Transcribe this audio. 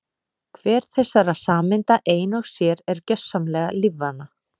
Hver þessara sameinda ein og sér er gjörsamlega lífvana.